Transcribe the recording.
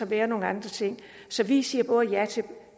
være nogle andre ting så vi siger både ja